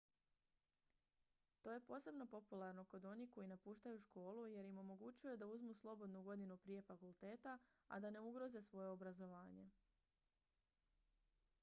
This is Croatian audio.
to je posebno popularno kod onih koji napuštaju školu jer im omogućuje da uzmu slobodnu godinu prije fakulteta a da ne ugroze svoje obrazovanje